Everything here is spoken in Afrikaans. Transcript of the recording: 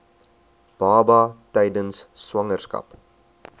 baba tydens swangerskap